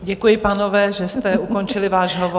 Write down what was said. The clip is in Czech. Děkuji, pánové, že jste ukončili váš hovor.